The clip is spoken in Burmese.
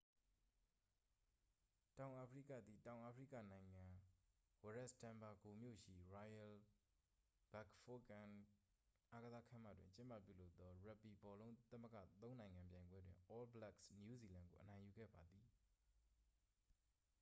တောင်အာဖရိကသည် တောင်အာဖရိကနိုင်ငံ၊ ဝရက်စ်တန်ဘာဂိုမြို့ရှိ royal bafokeng အားကစားခန်းမတွင် ကျင်းပပြုလုပ်သော ရပ်ဘီဘောလုံးသမဂ္ဂ သုံးနိုင်ငံပြိုင်ပွဲတွင် all blacks နယူးဇီလန် ကို အနိုင်ယူခဲ့ပါသည်။